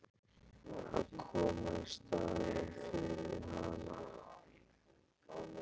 Að koma í staðinn fyrir hann?